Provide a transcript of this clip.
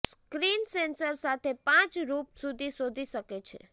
screen sensor સાથે પાંચ રૂપ સુધી શોધી શકે છે